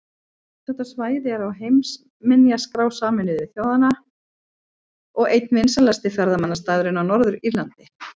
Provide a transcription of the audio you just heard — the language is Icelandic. Þetta svæði er á heimsminjaskrá Sameinuðu þjóðanna og einn vinsælasti ferðamannastaðurinn á Norður-Írlandi.